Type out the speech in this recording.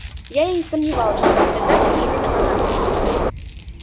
я и сомневалась что на фотографии именно она